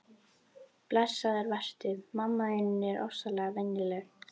Blessaður vertu, mamma þín er ofsalega venjuleg.